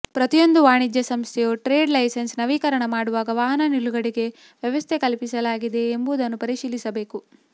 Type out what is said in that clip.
ಪ್ರತಿಯೊಂದು ವಾಣಿಜ್ಯ ಸಂಸ್ಥೆಯ ಟ್ರೇಡ್ ಲೈಸನ್ಸ್ ನವೀಕರಣ ಮಾಡುವಾಗ ವಾಹನ ನಿಲುಗಡೆಗೆ ವ್ಯವಸ್ಥೆ ಕಲ್ಪಿಸಲಾಗಿದೆಯೇ ಎಂಬುದನ್ನು ಪರಿಶೀಲಿಸಬೇಕು